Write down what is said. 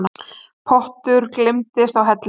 Pottur gleymdist á hellu